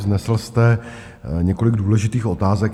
Vznesl jste několik důležitých otázek.